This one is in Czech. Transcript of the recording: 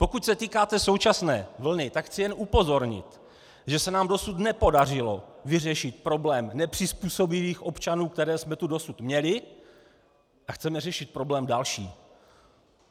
Pokud se týká současné vlny, tak chci jen upozornit, že se nám dosud nepodařilo vyřešit problém nepřizpůsobivých občanů, které jsme tu dosud měli, a chceme řešit problém další.